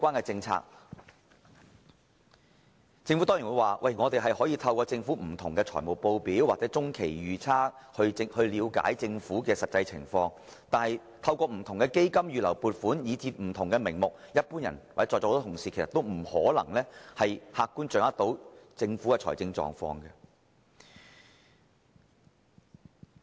政府當然會說，大家可以透過不同的財務報表或中期預測了解政府的實際財政狀況。但是，由於存在不同的基金、預留撥款，甚至其他不同名目的儲備，一般人或在座很多同事都難以客觀地掌握政府的財政狀況。